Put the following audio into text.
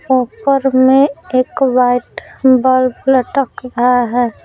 ऊपर में एक वाइट बल्ब लटक रहा है।